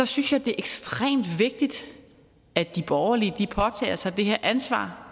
synes jeg det er ekstremt vigtigt at de borgerlige påtager sig ansvaret